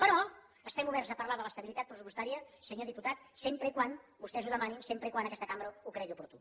però estem oberts a parlar de l’estabilitat pressupostària senyor diputat sempre que vostès ho demanin sempre que aquesta cambra ho cregui oportú